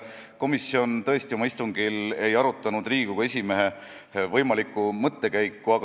Komisjon tõesti oma istungil ei arutanud Riigikogu esimehe võimalikku mõttekäiku.